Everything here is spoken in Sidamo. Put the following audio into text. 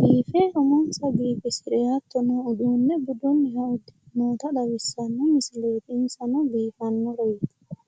biife umonsa biifisire hattono uduunne budunniha uddire noota xawissanno misileeti insano biifanno.